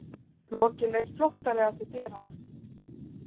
Loki leit flóttalega til dyranna.